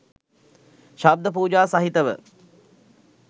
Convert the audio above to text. ශබ්ද පූජා සහිතව